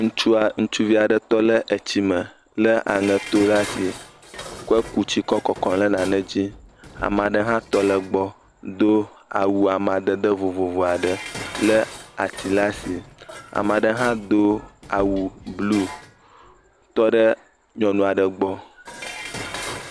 Ŋutsua, ŋutsuvi aɖe tɔ ɖe etsi me le aŋeto ɖe asi kɔ ku tia kɔ kɔkɔm ɖe nane dzi. Ame aɖe hã tɔ ɖe egbɔ do awu amadede vovovo aɖe le atsi ɖe asi. Ame aɖe hã do awu blu tɔ ɖe nyɔnu aɖe gbɔ.